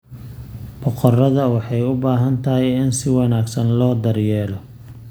Boqoradda waxay u baahan tahay in si wanaagsan loo daryeelo.